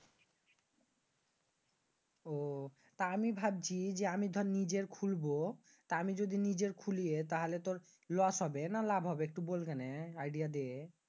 তা আমি ভাবছি আমি দর নিজের খুলব। তা আমি যদি নিজের খুলি তাহলে তুর loss হবে নাকি লাভা হবে একটু বলবি কেনে? idea দে।